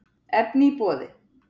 Efni í boði